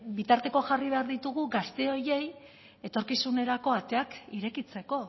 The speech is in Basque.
bitartekoak jarri behar ditugu gazte horiei etorkizunerako ateak irekitzeko